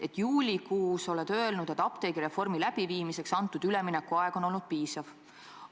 Juulikuus oled öelnud, et apteegireformi läbiviimiseks antud üleminekuaeg on olnud piisav.